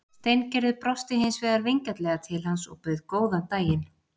Steingerður brosti hins vegar vingjarnlega til hans og bauð góðan daginn.